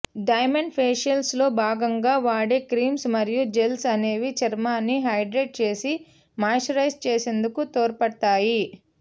diamond facials లో భాగంగా వాడే క్రీమ్స్ మరియు జెల్స్ అనేవి చర్మాన్ని హైడ్రేట్ చేసి మాయిశ్చరైజ్ చేసేందుకు తోడ్పడతాయి